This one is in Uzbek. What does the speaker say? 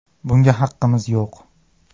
Bunga haqqimiz yo‘q.